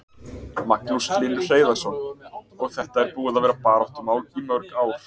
Magnús Hlynur Hreiðarsson: Og þetta er búið að vera baráttumál í mörg ár?